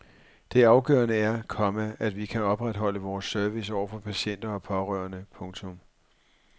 Det afgørende er, komma at vi kan opretholde vores service over for patienter og pårørende. punktum